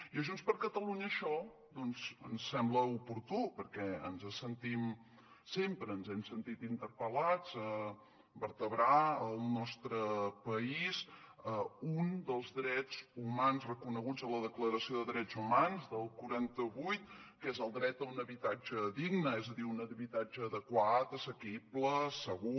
i a junts per catalunya això ens sembla oportú perquè ens sentim sempre ens hem sentit interpel·lats a vertebrar al nostre país un dels drets humans reconeguts en la declaració de drets humans del quaranta vuit que és el dret a un habitatge digne és a dir un habitatge adequat assequible segur